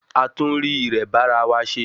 A tún rí irẹ bá ara wa se